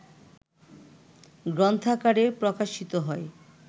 গ্রন্থাকারে প্রকাশিত হয়